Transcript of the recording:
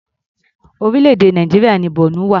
Orílẹ̀-èdè Nàìjíríà ni Borno wà.